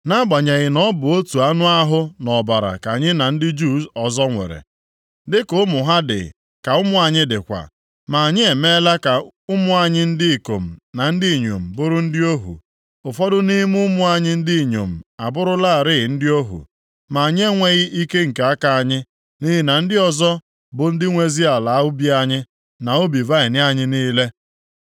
Nʼagbanyeghị na ọ bụ otu anụ ahụ na ọbara ka anyị na ndị Juu ọzọ nwere, dịka ụmụ ha dị ka ụmụ anyị dịkwa, ma anyị emeela ka ụmụ anyị ndị ikom na ndị inyom bụrụ ndị ohu. Ụfọdụ nʼime ụmụ anyị ndị inyom abụrụlarị ndị ohu, ma anyị enweghị ike nke aka anyị, nʼihi na ndị ọzọ bụ ndị nwezi ala ubi anyị na ubi vaịnị anyị niile.”